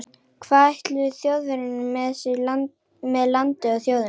Hvað ætluðu Þjóðverjar sér með landið og þjóðina?